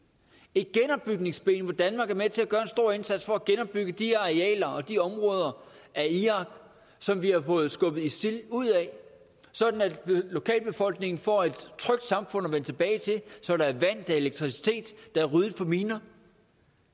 et genopbygningsben hvor danmark er med til at gøre en stor indsats for at genopbygge de arealer og de områder af irak som vi har fået skubbet isil ud af sådan at lokalbefolkningen får et trygt samfund at vende tilbage til så der er vand der er elektricitet der er ryddet for miner